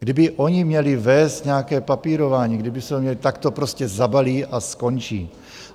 Kdyby oni měli vést nějaké papírování, tak to prostě zabalí a skončí.